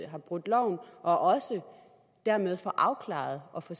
har brudt loven og også dermed få det afklaret og få